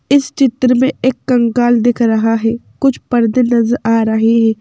इस चित्र में एक कंकाल दिख रहा है कुछ पर्दे नजर आ रहे हैं।